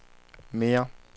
mere